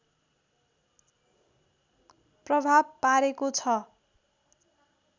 प्रभाव पारेको छ